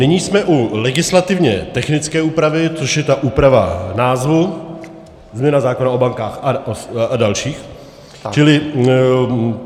Nyní jsme u legislativně technické úpravy, což je ta úprava názvu - změna zákona o bankách a dalších.